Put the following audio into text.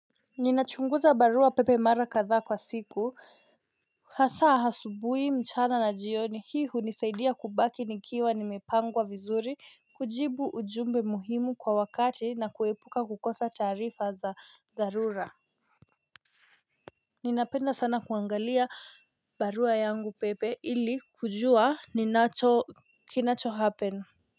Ninachunguza barua pepe mara kadhaa kwa siku hasaa asubuhi mchana na jioni hii huni saidia kubaki nikiwa nimepangwa vizuri kujibu ujumbe muhimu kwa wakati na kuepuka kukosa tarifa za darura Ninapenda sana kuangalia barua yangu pepe ili kujua ninacho kinacho happen.